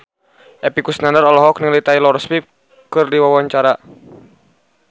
Epy Kusnandar olohok ningali Taylor Swift keur diwawancara